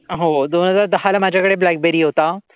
हो. दोन हजार दहा ला माझ्याकडे ब्लॅकबेरी होता.